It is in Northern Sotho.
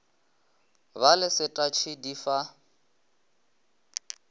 ba le setatšhe di fa